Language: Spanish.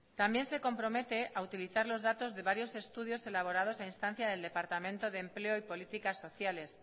también se compromete a utilizar los datos de varios estudios elaborados a instancia del departamento de empleo y políticas sociales